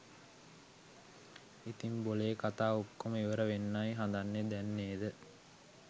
ඉතිං බොලේ කතා ඔක්කොම ඉවර වෙන්නයි හදන්නේ දැන් නේද?